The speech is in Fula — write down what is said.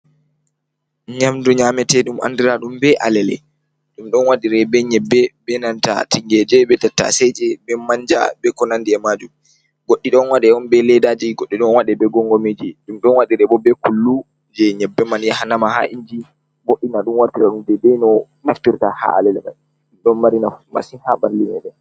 Nyamdu ɗum nyamete ɗum andira ɗum be alele, ɗum ɗon waɗire be nyebbe, be nanta tingeje be tattaseje be manja be konandi e majum, goɗɗi ɗon waɗe on be ledaji, goɗɗi ɗon waɗe be gongo miji, ɗum ɗon waɗire bo be kullu je nyebbe man yahanama ha inji, boɗɗina ɗum wartira ɗum deidei no naftirta ha alele mai ɗon mari nafu masin ha ɓalli meɗen.